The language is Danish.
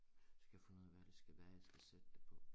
Skal have fundet ud af hvad det skal være jeg skal sætte den på